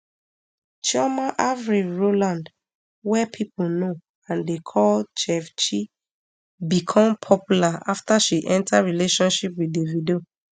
chioma avril rowland wey pipo know and dey call chef chi become popular afta she enta relationship wit davido